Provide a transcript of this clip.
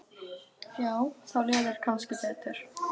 Já, þá líður þér kannski betur.